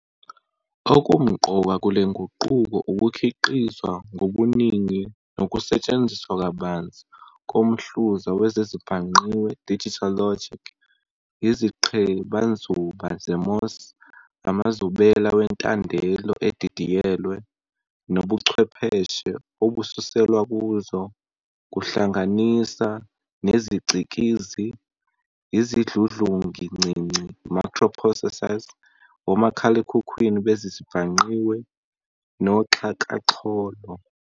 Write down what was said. Okumqoka kulenguqulo ukukhiqizwa ngobuningi nokusetshenziswa kabanzi komhluza wezezibhangqiwe "digital logic", iziqhebanzuba ze-MOS, amazubela wentandelo edidiyelwe, nobuchwepheshe obususelwa kuzo, kuhlanganisa nezicikizi, izidludlungincinci "microprocessors", omakhalekhukhwini bezezibhangqiwe, noxhakaxholo.